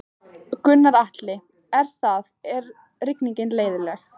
Gunnar Atli: Er það, er rigningin leiðinleg?